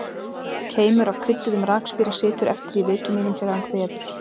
Keimur af krydduðum rakspíra situr eftir í vitum mínum þegar hann kveður.